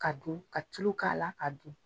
Ka dun, ka tulo k'a la ka dun.